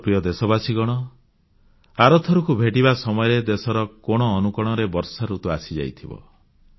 ମୋର ପ୍ରିୟ ଦେଶବାସୀଗଣ ଆର ଥରକୁ ଭେଟିବା ସମୟରେ ଦେଶର କୋଣଅନୁକୋଣରେ ବର୍ଷାଋତୁ ଆସିଯାଇଥିବ